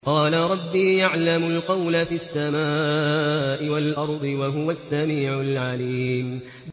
قَالَ رَبِّي يَعْلَمُ الْقَوْلَ فِي السَّمَاءِ وَالْأَرْضِ ۖ وَهُوَ السَّمِيعُ الْعَلِيمُ